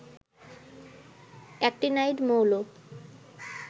actinide মৌল